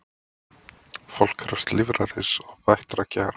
Fólk krefst lýðræðis og bættra kjara